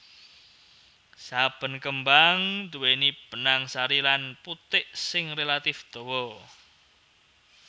Saben kembang nduwèni benang sari lan putik sing relatif dawa